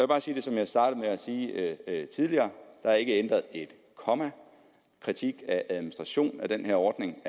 bare sige det som jeg startede med at sige tidligere nemlig der ikke er ændret et komma kritikken af administrationen af den her ordning